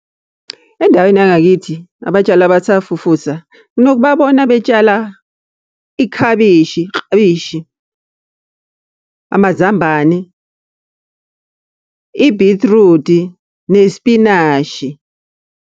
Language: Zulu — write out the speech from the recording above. Endaweni yangakithi, abatshali abasafufusa nginokubabona betshala ikhabishi iklabishi, amazambane, ibhithrudi, nesipinashi.